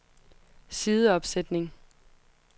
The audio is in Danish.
sideopsætning